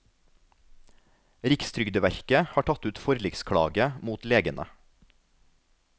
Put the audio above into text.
Rikstrygdeverket har tatt ut forliksklage mot legene.